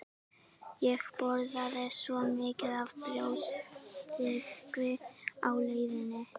Ég borðaði svo mikið af brjóstsykri á leiðinni